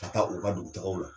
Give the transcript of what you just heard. Ka taa u ka dugutagaw la.